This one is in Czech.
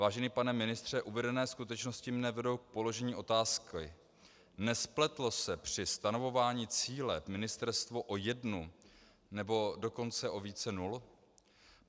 Vážený pane ministře, uvedené skutečnosti mě vedou k položení otázky: Nespletlo se při stanovování cíle ministerstvo o jednu, nebo dokonce o více nul?